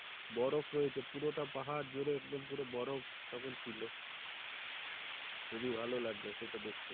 বরফ রয়েছে পুরোটা পাহাড় জুড়ে একদম পুরো বরফ তখন ছিলো খুবই ভালো লাগলো সেটা দেখে